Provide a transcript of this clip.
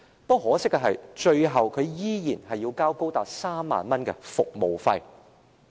很可惜，最後他依然要繳交高達3萬元的服務費。